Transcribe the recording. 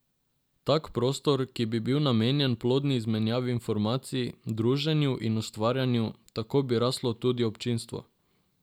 Tak prostor, ki bi bil namenjen plodni izmenjavi informacij, druženju in ustvarjanju, tako bi raslo tudi občinstvo.